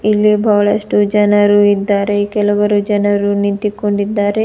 ಇಲ್ಲಿ ಬಹಳಷ್ಟು ಜನರು ಇದ್ದಾರೆ ಕೆಲವರು ಜನರು ನಿಂತಿಕೊಂಡಿದ್ದಾರೆ.